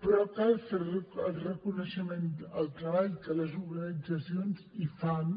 però cal fer el reconeixement del treball que les organitzacions hi fan